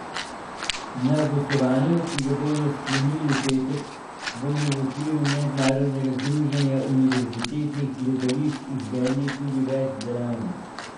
Na gostovanju, ki ga bodo sklenili v petek, bodo v okviru mednarodnega združenja univerzitetnih gledališč izvedli tudi več delavnic.